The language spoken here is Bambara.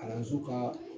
Kalanso kaa